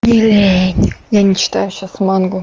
лень я не читаю сейчас мангу